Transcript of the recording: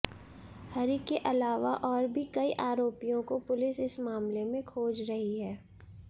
हरि के अलावा और भी कई आरोपियों को पुलिस इस मामले में खोज रही है